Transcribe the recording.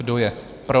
Kdo je pro?